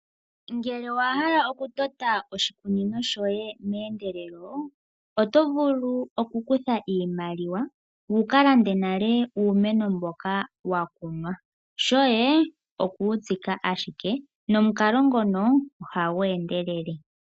Ngele owa hala okutota oshikunino shoye meendelelo, oto vulu okukutha iimaliwa wu ka lande nale uumeno mboka wa kunwa. Shoye oku wu tsika ashike, nomukalo ngono ohagu endelele.